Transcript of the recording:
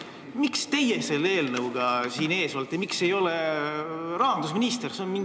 Miks teie selle eelnõuga siin meie ees olete, miks ei ole rahandusminister?